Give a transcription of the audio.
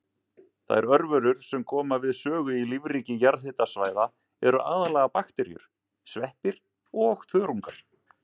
Þær örverur sem koma við sögu í lífríki jarðhitasvæða eru aðallega bakteríur, sveppir og þörungar.